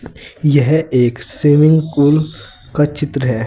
यह एक swimming pool का चित्र है।